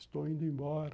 Estou indo embora.